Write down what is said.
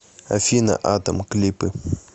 афина атом клипы